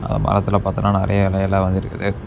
மரத்துல பார்த்தன நறைய இலை எல்லாம் வந்து இருக்கு.